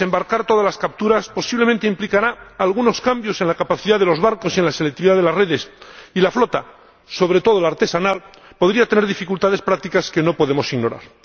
Desembarcar todas las capturas posiblemente implicará algunos cambios en la capacidad de los barcos y en la selectividad de las redes, y la flota, sobre todo la artesanal, podría tener dificultades prácticas que no podemos ignorar.